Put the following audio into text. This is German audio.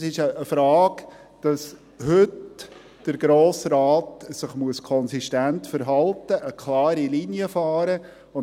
Es geht darum, dass der Grosse Rat sich heute konsistent verhalten und eine klare Linie verfolgen muss.